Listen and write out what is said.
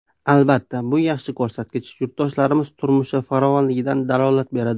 Albatta, bu yaxshi ko‘rsatkich, yurtdoshlarimiz turmushi farovonligidan dalolat beradi.